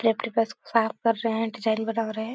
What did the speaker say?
बस साफ़ कर रहे हैं डिजाईन बना रहे हैं।